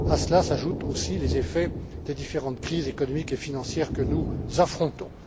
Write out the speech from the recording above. À cela s'ajoute aussi les effets des différentes crises économiques et financières que nous affrontons.